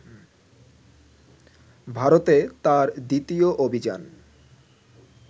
ভারতে তাঁর দ্বিতীয় অভিযান